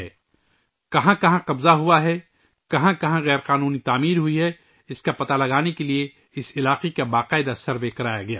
یہ جاننے کے لئے کہ کہاں کہاں تجاوزات ہیں، کہاں غیر قانونی تعمیرات ہوئی ہیں، اس علاقے کا سروے کیا گیا